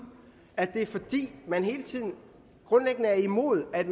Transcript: at det er fordi man hele tiden grundlæggende er imod at